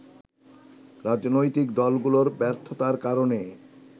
রাজনৈতিক দলগুলোর ব্যর্থতার কারনে